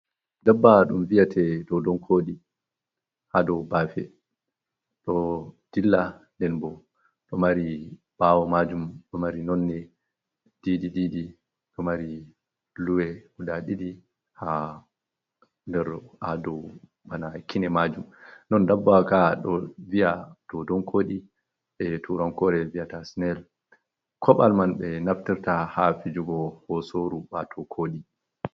Dabbawa ɗum viyata dodonkooɗi haa dow baafe ɗo dilla nden bo, ɗo mari ɓaawo maajum, ɗo mari nonnde didi, ɗo mari luwe ɗiɗi haa kine maajum non dabbawa ka ɗo viya dodon kooɗi e turankore viyata sinel, koɓal man ɓe ɗo naftirta haa fijugo hosooru bato kooɗi.